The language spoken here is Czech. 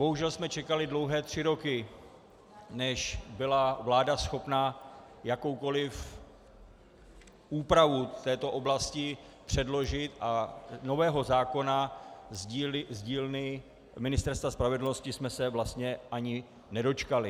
Bohužel jsme čekali dlouhé tři roky, než byla vláda schopna jakoukoliv úpravu této oblasti předložit, a nového zákona z dílny Ministerstva spravedlnosti jsme se vlastně ani nedočkali.